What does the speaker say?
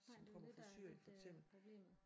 Nej det jo det der er lidt øh problemet